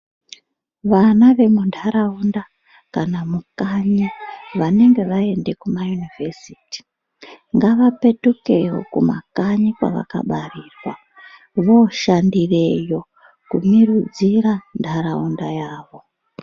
Vana vemuntaraunda kana mukanyi vanenge vaende Kuma univhesiti ngavapetuke kumakanyi kwavakabarirwa voshandireyo kumirudzira ntaraunda yavo.